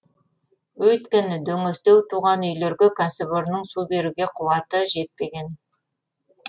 өйткені дөңестеу тұрған үйлерге кәсіпорынның су беруге қуаты жетпеген